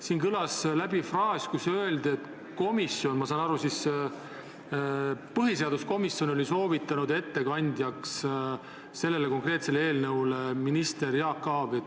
Siin kõlas fraas, ma sain nii aru, et põhiseaduskomisjon oli soovitanud ettekandjaks selle konkreetse eelnõu arutelul minister Jaak Aabi.